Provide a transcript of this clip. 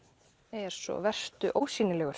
er svo vertu ósýnilegur